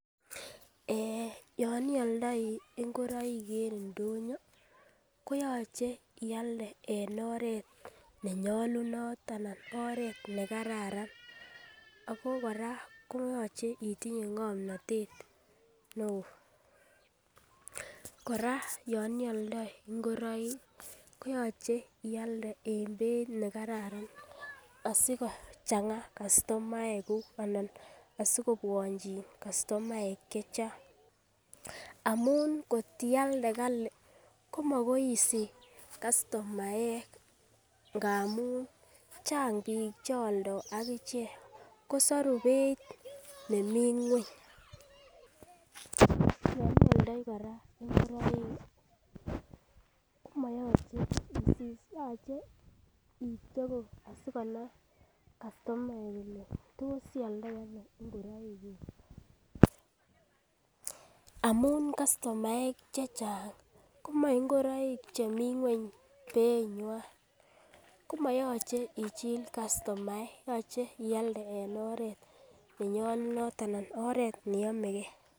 Eh yon ioldoi ingoroik en indonyo koyoche ialde en oret nenyolunot ana oret nekararan ako koraa koyoche itinye ngomnotet neo ,koraa yon ioldoi ingoroik koyoche ialde en beit nekararan asikocheng kastomaek kuk ana asikobwonchi kastomaek chechang amun kotialde Kali komokonin isich kastomaek ngamun chang bik cheoldei akichek kosoru beit nemii ngweny, yon ioldoi kora ingoroik komoyoche isis yoche itweku asikonai kastomaek kole tos ioldoi Ono ingoroik kuku amun kastomaek chechang komoi ingoroik chemii ngweny beit nywan komoyoche ichill kastomaek yoche ialde en oret nenyolunot ana oret neyomegee.